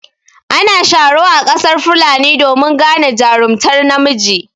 Ana sharo a ƙasar fulani domin gane jarumtar namiji.